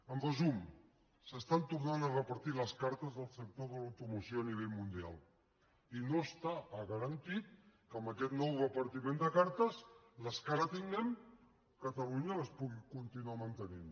en resum s’estan tornant a repartir les cartes del sector de l’automoció a nivell mundial i no està garantit que en aquest nou repartiment de cartes les que ara tinguem catalunya les pugui continuar mantenint